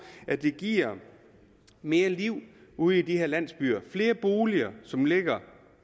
at det giver mere liv ude i de her landsbyer flere boliger som ligger